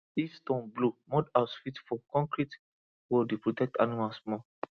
if storm blow mud house fit fall concrete wall dey protect animals more